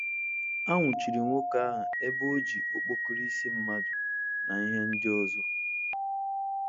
A nwụchiri nwoke ahụ ebe o ji okpokoro isi mmadụ na ihe ndị ọzọ.